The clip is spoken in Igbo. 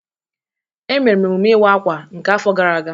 Emere m emume iwa akwa nke afo gara aga.